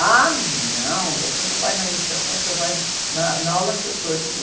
Ah, não, você não vai na iniciação, você vai na, na aula que eu estou. Eu digo...